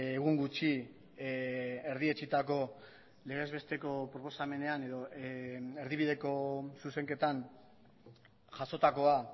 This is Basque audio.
egun gutxi erdietsitako legezbesteko proposamenean edo erdibideko zuzenketan jasotakoa